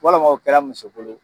Walima o kɛra muso bolo.